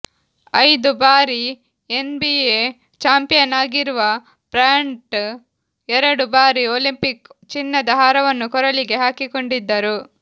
ಐದು ಬಾರಿ NBA champion ಆಗಿರುವ ಬ್ರ್ಯಾಂಟ್ ಎರಡು ಬಾರಿ ಒಲಿಂಪಿಕ್ ಚಿನ್ನದ ಹಾರವನ್ನು ಕೊರಳಿಗೆ ಹಾಕಿಕೊಂಡಿದ್ದರು